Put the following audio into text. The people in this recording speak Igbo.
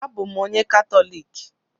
Abụ m onye Katọlik